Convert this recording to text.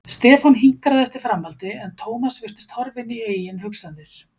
Stefán hinkraði eftir framhaldi en Thomas virtist horfinn í eigin hugsanir.